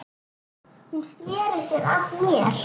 Hún sneri sér að mér.